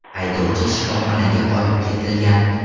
Haydovchi shifoxonaga olib ketilgan.